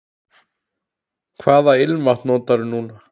Hvaða ilmvatn notarðu núna?